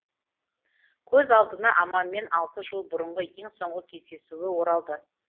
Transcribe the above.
көз алдына аманмен алты жыл бұрынғы ең соңғы кездесуі оралды